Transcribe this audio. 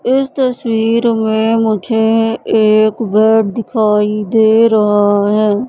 इस तस्वीर में मुझे एक घर दिखाई दे रहा है।